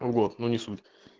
вот но не суть